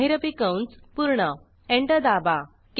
महिरपी कंस पूर्ण एंटर दाबा